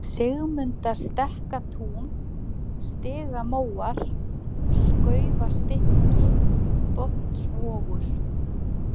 Sigmundastekkatún, Stigamóar, Skaufastykki, Botnsvogur